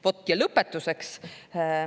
Vot, ja lõpetuseks.